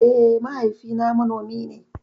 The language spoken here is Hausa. Eh mahaifi na manomi ne